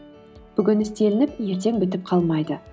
бүгін істелініп ертең бітіп қалмайды